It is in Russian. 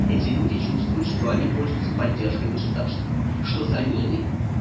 эти люди чувствуют что они пользуются поддержкой государства что за ними